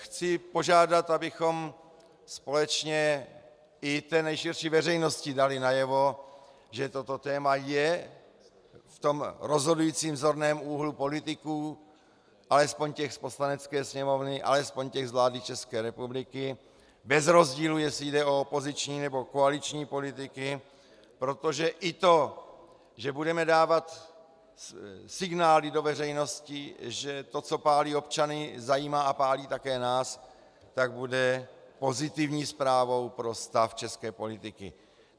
Chci požádat, abychom společně i té nejširší veřejnosti dali najevo, že toto téma je v tom rozhodujícím zorném úhlu politiků, alespoň těch z Poslanecké sněmovny, alespoň těch z vlády České republiky, bez rozdílu, jestli jde o opoziční, nebo koaliční politiky, protože i to, že budeme dávat signály do veřejnosti, že to, co pálí občany, zajímá a pálí také nás, tak bude pozitivní zprávou pro stav české politiky.